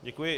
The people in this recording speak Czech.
Děkuji.